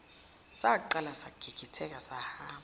saqala sagigitheka sahamba